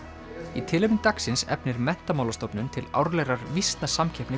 í tilefni dagsins efnir Menntamálastofnun til árlegrar